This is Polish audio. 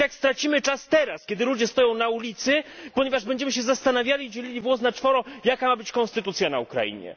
I tak stracimy czas teraz, kiedy ludzie stoją na ulicy, ponieważ będziemy się zastanawiali, dzielili włos na czworo, jaka ma być konstytucja na Ukrainie.